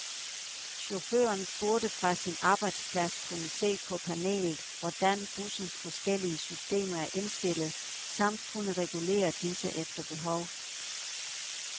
Chaufføren burde fra sin arbejdsplads kunne se på panelet, hvordan bussens forskellige systemer er indstillet samt kunne regulere disse efter behov.